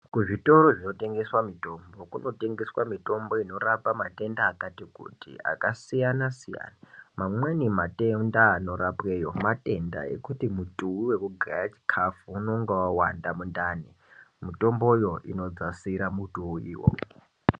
Kuzvitoro zvinotengeswa mitombo Kunotengeswa mitombo inorapa matenda akati kuti akasiyana siyana vamweni matenda anorapweyo matenda ekuti mutuwi unogara chikafu Unenge wawanda mundani mitomboyo unodzasira muti uwo.